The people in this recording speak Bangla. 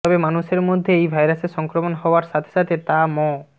তবে মানুষের মধ্যে এই ভাইরাসের সংক্রমণ হওয়ার সাথে সাথে তা ম